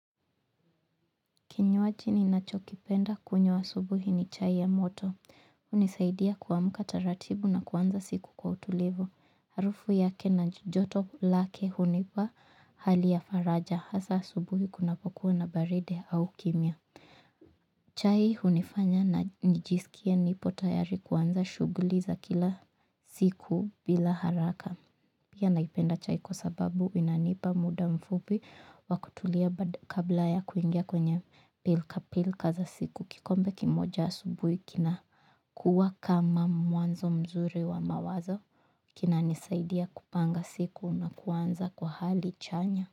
Kinywaji ninachokipenda kunywa asubuhi ni chai ya moto hunisaidia kuamka taratibu na kuanza siku kwa utulivu. Harufu yake na joto lake hunipa hali ya faraja hasa asubuhi kunapokuwa na baridi au kimya. Chai hunifanya na nijisikie nipo tayari kuanza shughuli za kila siku bila haraka. Pia naipenda chai kwa sababu inanipa muda mfupi wa kutulia kabla ya kuingia kwenye pilkapilka za siku kikombe kimoja asubhi kinakuwa kama mwanzo mzuri wa mawazo kinanisaidia kupanga siku na kuanza kwa hali chanya.